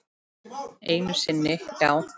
Einu sinni, já.